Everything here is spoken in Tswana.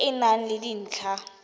e e nang le dintlha